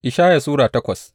Ishaya Sura takwas